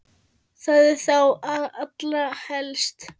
Það er þá allra helst!